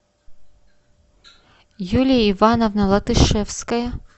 юлия ивановна латышевская